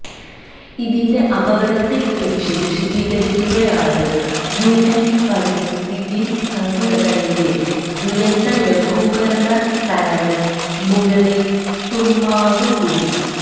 ഇതിന്റെ അപകടത്തെ കുറിച്ച് വിശദീകരിക്കുകയാണ് യുഎന് പരിസ്ഥിതി സംഘടനയിലെ ദുരന്ത ലഘൂകരണ തലവന് മുരളി തുമ്മാരുകുടി